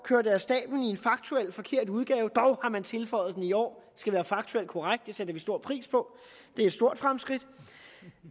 af stabelen i en faktuel forkert udgave dog har man tilføjet at den i år skal være faktuel korrekt det sætter vi stor pris på det er et stort fremskridt